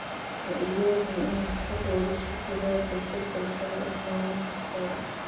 Ha iloobin inaad ku quudiso digaagga jadwal gaar ah maalin kasta.